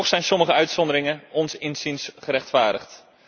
Toch zijn sommige uitzonderingen, ons inziens, gerechtvaardigd.